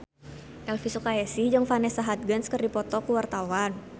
Elvi Sukaesih jeung Vanessa Hudgens keur dipoto ku wartawan